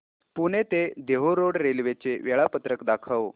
पुणे ते Dehu road railway चे वेळापत्रक दाखव